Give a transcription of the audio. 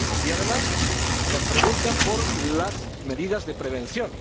Además, nos preguntan por las medidas de prevención.